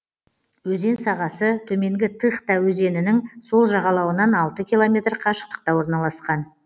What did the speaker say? өзен сағасы төменгі тыхта өзенінің сол жағалауынан алты километр қашықтықта орналасқан